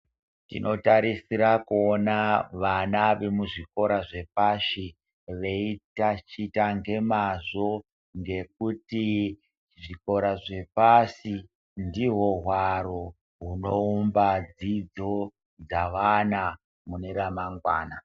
Tinotarisira kuona vana vemuzvikora zvepashi veitachita ngemazvo ngekuti zvikora zvepasi ndihwo hwaro hunoumba dzidzo dzavana mune ramangwana.